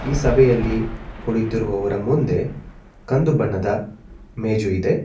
ಸಭೆಯಲ್ಲಿ ಕುಳಿತಿರುವವರ ಮುಂದೆ ಕಂದು ಬಣ್ಣದ ಮೇಜು ಇದೆ.